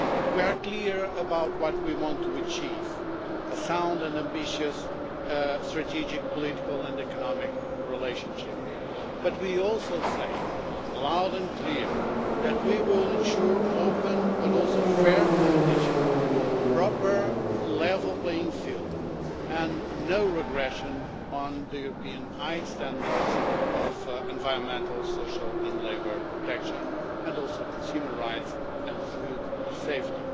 We are clear about what we want to achieve a sound and ambitious strategic, political and economic relationship but we also say, loud and clear, that we will ensure open, but also fair, competition, a proper level playing field and no regression on the high European standards of environmental, social and labour protection, and also consumer rights and food safety.